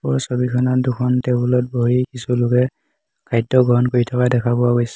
ওপৰৰ ছবিখনত দুখন টেবুল ত বহি কিছু লোকে খাদ্য গ্ৰহণ কৰি থকা দেখা পোৱা গৈছ --